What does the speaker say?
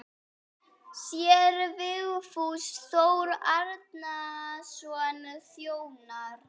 Séra Vigfús Þór Árnason þjónar.